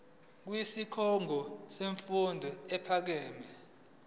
kwisikhungo semfundo ephakeme